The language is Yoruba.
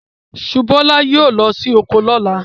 Subúolá yóò lọ sí oko lọ́la.